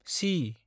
C